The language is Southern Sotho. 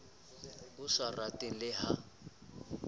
o sa rateng le ha